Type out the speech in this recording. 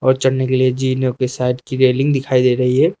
और चढ़ने के लिए की साइड की रेलिंग दिखाई दे रही है।